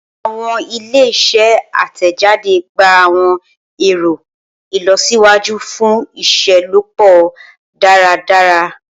Awọn ile-iṣẹ atẹjade gba awọn ẹrọ ilọsiwaju fun iṣelọpọ daradara.